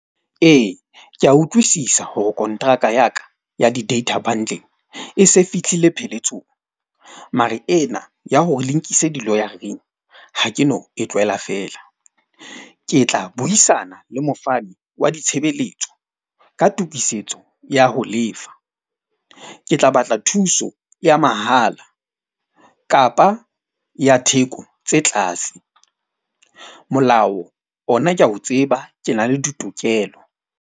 Ee, ke a utlwisisa hore kontraka ya ka ya di-data bundle e se fihlile pheletsong. Mare ena ya hore le nkise di-lawyer-reng ha ke no e tlohela fela. Ke tla buisana le mofani wa ditshebeletso ka tokisetso ya ho lefa. Ke tla batla thuso ya mahala kapa ya theko tse tlase. Molao ona ke a o tseba ke na le ditokelo.